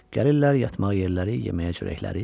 Gəlirlər yatmağa yerləri, yeməyə çörəkləri.